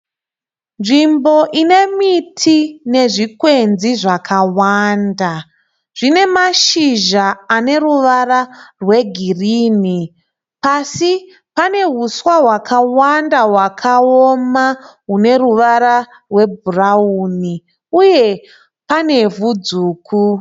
Nzvimbo inemiti nezvikwenzi zvakawanda. Zvinemazhizha aneruvara rwegirini. Pasi penehuswa hwakawanda hwakaoma runeruvara rwebhurauni uye pane ivhu dzvuku.